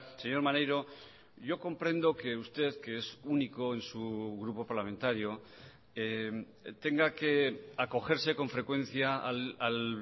señor maneiro yo comprendo que usted que es único en su grupo parlamentario tenga que acogerse con frecuencia al